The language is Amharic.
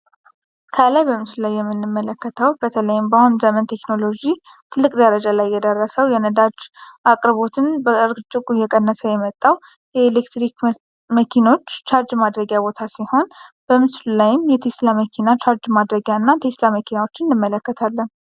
ከላይ በምስሉ ላይ የምንመለከተው በተለይም ባሁን ዘመን ቴክኖሎጂ ትልቅ ደረጃ ላይ የደረሰው የነዳጅ አቅርቦትን በእጅጉ እየቀነሰ የመጣ የኤሌክትሪክ መኪኖች ቻርጅ ማድረጊያ ሲሆን፤ በምስሉ ላይም የቴስላ መኪና ቻርጅ ማድረጊያ እና ቴስላ መኪናዎችን እነመለከታለን።